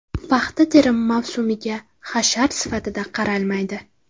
Paxta terimi mavsumiga hashar sifatida qaralmaydi.